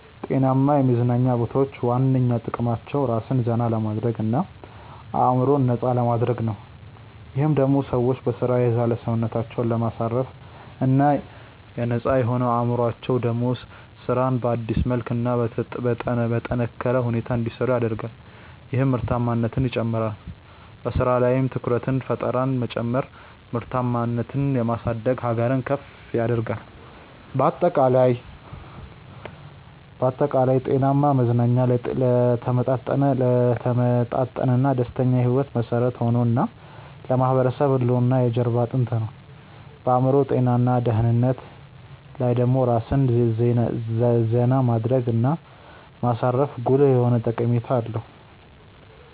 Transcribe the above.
ጤናማ የመዝናኛ ቦታዎች ዋነኛ ጥቅማቸው ራስን ዘና ለማድረግ እና አዕምሮን ነፃ ለማድረግ ነው። ይህም ደሞ ሰዎች በሥራ የዛለ ሰውነታቸውን ለማሳረፍ እና ነፃ የሆነው አዕምሮአቸው ደሞ ስራን በአዲስ መልክ እና በጠነካረ ሁኔታ እንዲሰሩ ያደርጋል ይህም ምርታማነትን ይጨምራል። በሥራ ላይም ትኩረትንና ፈጠራን መጨመር ምርታማነትን የማሳደግ ሀገርን ከፍ ያደርጋል። ባጠቃላይ፣ ጤናማ መዝናኛ ለተመጣጠነና ደስተኛ ሕይወት መሠረት የሆነ እና ለማህበረሰብ ህልውና የጀርባ አጥንት ነው። በአዕምሮ ጤና እና ደህንነት ላይ ደሞ ራስን ዜና ማድረግ እና ማሳረፉ ጉልህ የሆነ ጠቀሜታ አለው።